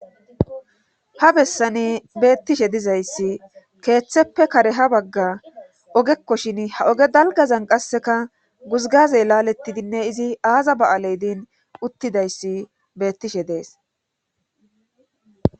Ha bessani beettishe dizayssi keeththeppe kare ha bagga ogekko shin ha oge dalgazan qasseka guzgaze laalettidinne izi aaza ba7aley din uttidayssi beettishe dees